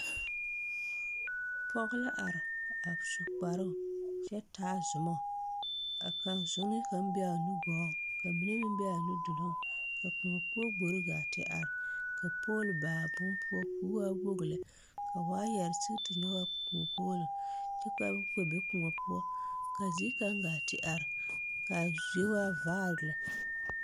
Pɔge la are a su kparoo kyɛ taa zumo a kaa zunee kaŋ be aa nugɔɔŋ ka mine meŋ be aa nuduluŋ ka kõɔ poɔ gbore gaa te are ka pool ba bon poɔ koo waa woge lɛ ka waayarre sige tinyogaa kõɔ poolo kyɛ ka o kpɛ be kòɔ poɔ ka zie kaŋ gaa ti are kaa zie waa vaare lɛ.